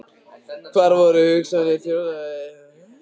Hvar voru hagsmunir sjóðfélaga og lög um lífeyrissjóði þá?